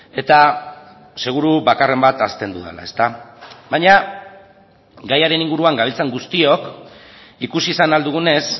eta seguru bakarren bat ahazten dudala baina gaiaren inguruan gabiltzan guztiok ikusi izan ahal dugunez